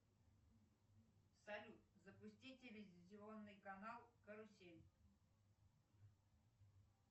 салют запусти телевизионный канал карусель